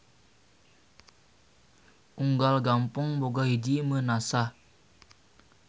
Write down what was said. Unggal gampong boga hiji Meunasah.